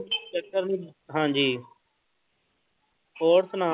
ਹਾਂਜੀ ਹੋਰ ਸੁਣਾ।